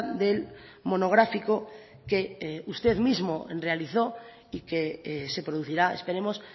del monográfico que usted mismo realizó y que se producirá esperemos